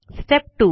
step 2